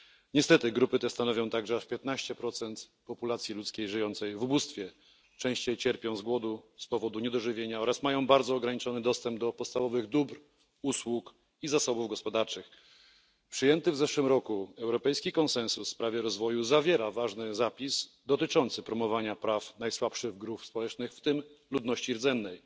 Niestety grupy te stanowią także aż 15 populacji ludzkiej żyjącej w ubóstwie, częściej cierpią wskutek głodu i niedożywienia oraz mają bardzo ograniczony dostęp do podstawowych dóbr, usług i zasobów gospodarczych. Przyjęty w zeszłym roku europejski konsensus w sprawie rozwoju zawiera ważny zapis dotyczący promowania praw najsłabszych grup społecznych, w tym ludności rdzennej.